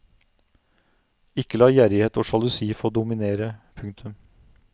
Ikke la gjerrighet og sjalusi få dominere. punktum